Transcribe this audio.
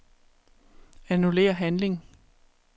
Annullér handling.